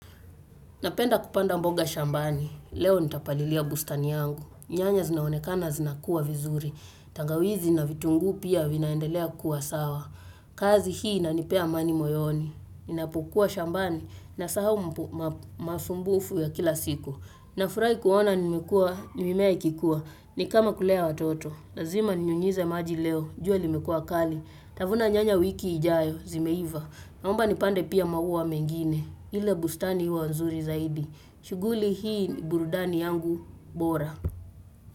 Napenda kupanda mboga shambani. Leo nitapalilia bustani yangu. Nyanya zinaonekana zinakuwa vizuri. Tangawizi na vitunguu pia vinaendelea kuwa sawa. Kazi hii inanipea amani moyoni. Ninapokuwa shambani na sahau masumbufu ya kila siku. Nafurahi kuona nimekua, mimea ikikua. Ni kama kulea watoto. Lazima ninyunyize maji leo. Jua limekuwa kali. Nitavuna nyanya wiki ijayo, zimeiva. Naomba nipande pia maua mengine. Ile bustani huwa nzuri zaidi shughuli hii ni burudani yangu bora.